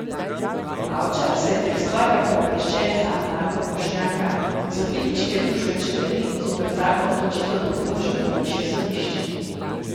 Bavčar se je prek svojega pooblaščenca Marka Bošnjaka iz Odvetniške družbe Čeferin zoper tako odločitev pritožil na višje sodišče.